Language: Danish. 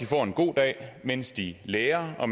får en god dag mens de lærer og